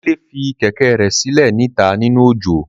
Dele fi kẹ̀kẹ́ rẹ silẹ ni ita ninu ojo.